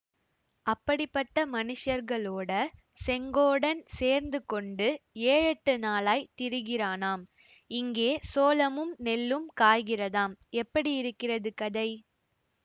அப்படிப்பட்ட மனுஷர்களோட செங்கோடன் சேர்ந்து கொண்டு ஏழெட்டு நாளாய்த் திரிகிறானாம் இங்கே சோளமும் நெல்லும் காய்கிறதாம் எப்படி இருக்கிறது கதை